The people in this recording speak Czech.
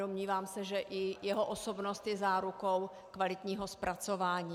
Domnívám se, že i jeho osobnost je zárukou kvalitního zpracování.